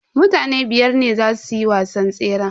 Mutane biyar ne zasu yi wasan tseran.